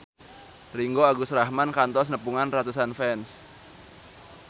Ringgo Agus Rahman kantos nepungan ratusan fans